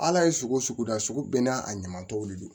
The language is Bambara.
Ala ye sugu sugu da sugu bɛɛ n'a a ɲama tɔw de don